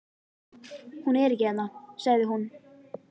Hún er ekki hérna, sagði hún.